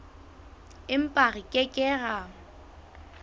empa re ke ke ra